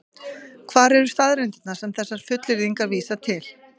Hvar eru staðreyndirnar sem þessar fullyrðingar vísa til?